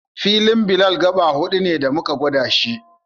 Filin Bilal gaɓa huɗu ne da muka gwada shi